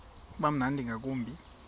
uba mnandi ngakumbi